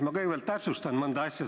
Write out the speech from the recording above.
Ma kõigepealt täpsustan mõnda asja.